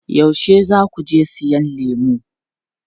Yaushe za ku je siyan lemu?